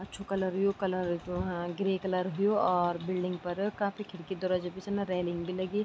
अछू कलर यु कलर जू हाँ ग्रे कलर हुयुं और बिल्डिंग पर काफी खिड़की दरवजा भी छन अर रेलिंग भी लगीं।